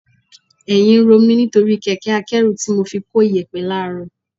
Ẹ̀yìn ń ro mi nítorí kẹ̀kẹ́ akẹ́rù tí mo fi ko iyẹ̀pẹ̀ láàrọ̀